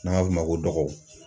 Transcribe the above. N'an m'a f'o ma ko dɔgɔw